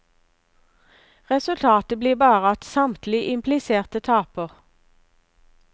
Resultatet blir bare at samtlige impliserte taper.